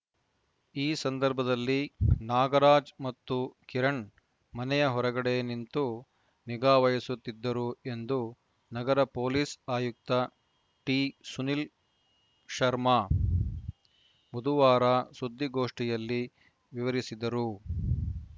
ಈ ಸಂದರ್ಭದಲ್ಲಿ ನಾಗರಾಜ್‌ ಮತ್ತು ಕಿರಣ್‌ ಮನೆಯ ಹೊರಗಡೆ ನಿಂತು ನಿಗಾವಹಿಸುತ್ತಿದ್ದರು ಎಂದು ನಗರ ಪೊಲೀಸ್‌ ಆಯುಕ್ತ ಟಿಸುನೀಲ್‌ಶರ್ಮಾ ಬುಧವಾರ ಸುದ್ದಿಗೋಷ್ಠಿಯಲ್ಲಿ ವಿವರಿಸಿದರು